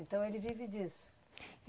Então ele vive disso?